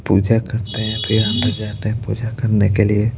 पूजा करते हैं फिर यहां पर जाते हैं पूजा करने के लिए--